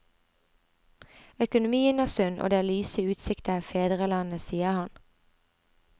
Økonomien er sunn og det er lyse utsikter i fedrelandet, sier han.